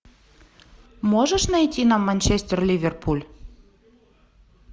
можешь найти нам манчестер ливерпуль